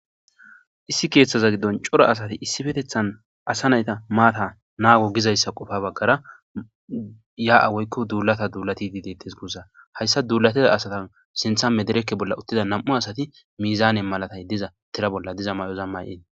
Issi keeththaza giddon cora asati issifetethan asa nayta maata naago gizayssa qofa baggara ya'a woykko duulata duulati di detes gussa hayssa duulateda asatan sinthamme derekke bolla uttida nam'u asati miizaane malatay diza tira bolla diza may'oz may'ee.